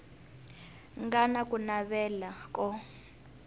nga na ku navela ko